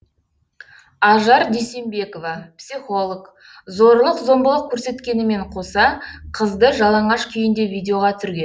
ажар дүйсенбекова психолог зорлық зомбылық көрсеткенімен қоса қызды жалаңаш күйінде видеоға түсірген